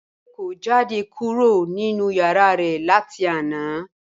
Bímpé kò jáde kúrò nínú yàrá rẹ̀ láti àná